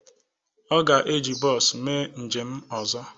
Ọ ga-eji bọọsu mee njem ọzọ